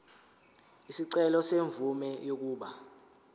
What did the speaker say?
isicelo semvume yokuba